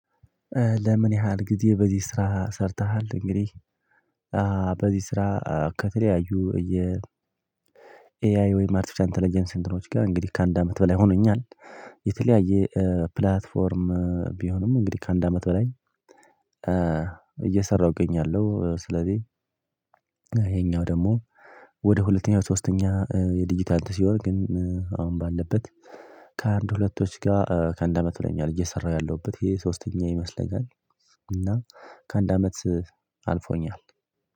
ለምን ያህል ጊዜ በዚህ ስራ ሰርተሃል? እንግዲህ በዚህ ስራ ከተለያዩ እየ የ ኤአይ ወይም አርቲፊሻል ኢንተለጀንስ ሴንትሮች ጋር እንግዲህ ከአንድ አመት በላይ ሆኖኛል የተለያየ ፕላትፎርም ቢሆንም እንግዲህ ከአንድ አመት በላይ እየሰራሁ እገኛለሁ ስለዚህ ይሄኛው ደግሞ ወደ ሁለተኛው ሶስተኛ የዲጂታል ሲወር ግን አሁን ባለበት ከአንድ ሁለቶች ጋር ከአንድ አመት በላይ ሆኖኛል፤ እየሰራሁ ያለሁበት ይሄ ሶስተኛ ይመስለኛል እና ከአንድ አመት አልፎኛል